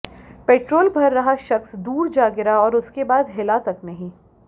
petrol भर रहा शख्स दूर जा गिरा और उसके बाद हिला तक नहीं